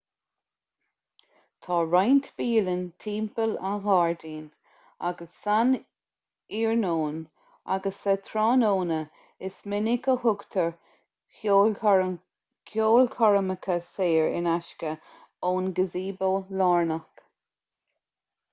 tá roinnt bialann timpeall an ghairdín agus san iarnóin agus sa tráthnóna is minic a thugtar ceolchoirmeacha saor in aisce ón gazebo lárnach